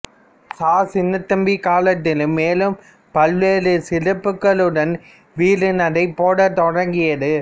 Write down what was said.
ச சின்னத்தம்பி காலத்திலும் மேலும் பல்வேறு சிறப்புக்களுடன் வீறு நடை போடத்தொடங்கியது